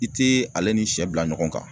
I tɛ ale ni sɛ bila ɲɔgɔn kan